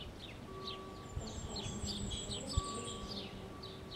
поставь снежный человек против зомби